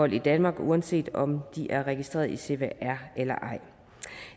i danmark uanset om de er registreret i cpr eller ej